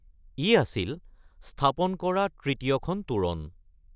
ই আছিল স্থাপন কৰা তৃতীয়খন তোৰণ।